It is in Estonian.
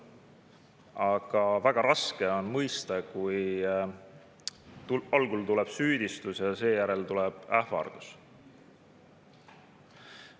Aga väga raske on mõista, kui algul tuleb süüdistus ja seejärel tuleb ähvardus.